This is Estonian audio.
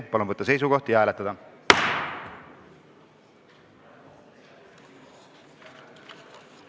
Palun võtta seisukoht ja hääletada!